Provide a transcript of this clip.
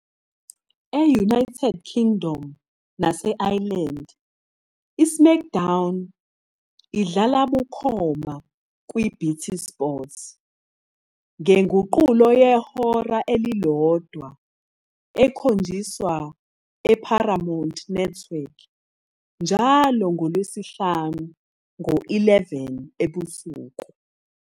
E.- United Kingdom nase- Ireland, "iSmackdown" idlala bukhoma kwi- BT Sport, ngenguqulo yehora elilodwa ekhonjiswa eParamount Network njalo ngoLwesihlanu ngo-11 ebusuku.